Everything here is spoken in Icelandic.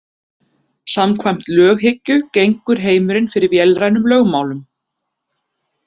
Samkvæmt löghyggju gengur heimurinn fyrir vélrænum lögmálum.